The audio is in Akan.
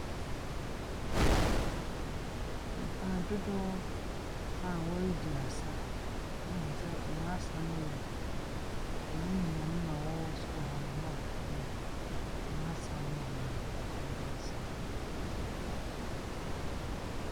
Dodoɔ a wɔredi asa, wohu sɛ wɔn asa no yɛ yɛn nuanom a wɔwɔ sor hɔ, Nɔɔfofo no, wɔn asaw no bi na nkorɔfo no resa.